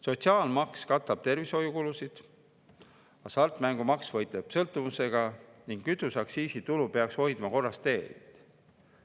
Sotsiaalmaks katab tervishoiukulusid, hasartmängumaksu abil võideldakse sõltuvusega ning kütuseaktsiisi tuluga peaks hoidma korras teed.